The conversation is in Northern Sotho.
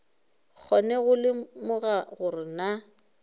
kgone go lemoga gore na